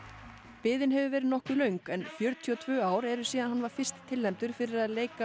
biðin hefur verið nokkuð löng en fjörutíu og tvö ár eru síðan hann var fyrst tilnefndur fyrir að leika